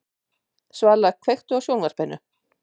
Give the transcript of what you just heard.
Svala, kveiktu á sjónvarpinu.